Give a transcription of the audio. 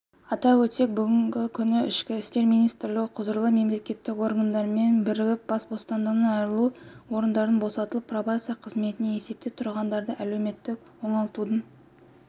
атап өтсек бүгін ішкі істер министрлігі құзырлы мемлекеттік органдармен бірігіп бас бостандығынан айыру орындарынан босатылып пробация қызметінде есепте тұрғандарды әлеуметтік оңалтудың